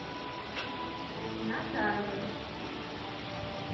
назаровой